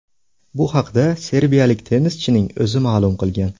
Bu haqda serbiyalik tennischining o‘zi ma’lum qilgan.